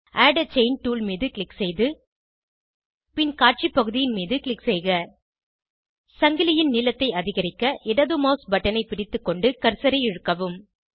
add a chain tool மீது click செய்து பின் காட்சி பகுதியின் மீது க்ளிக் செய்க சங்கிலியின் நீளத்தை அதிகரிக்க இடது மவுஸ் பட்டனை பிடித்துக்கொண்டு கர்சரை இழுக்கவும்